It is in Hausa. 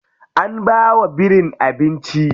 An bawa birin abinci.